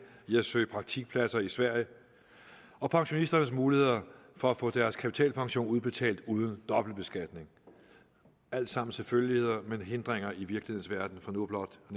i at søge praktikpladser i sverige og pensionisternes muligheder for at få deres kapitalpension udbetalt uden dobbeltbeskatning alt sammen selvfølgeligheder men hindringer i virkelighedens verden for nu blot at